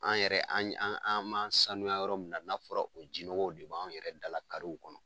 An yɛrɛ an b'an saniya yɔrɔ min na , n'a fɔra o jinɔgɔw de b'an yɛrɛ dala karew kɔnɔ